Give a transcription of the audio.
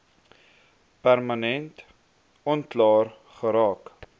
permanent onklaar geraak